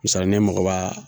Misali ne mago b'a